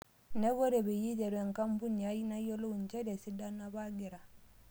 Niaku ore peyie aiteru enkampunu ai nayiolou njere esidano apa agira